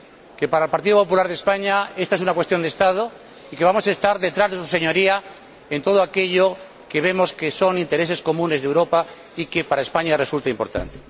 Que, para el Partido Popular de España, ésta es una cuestión de Estado y que vamos a estar detrás de su Señoría en todo aquello que vemos que son intereses comunes de Europa y que para España resulta importante.